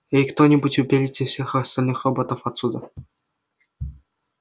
эй кто-нибудь уберите всех остальных роботов отсюда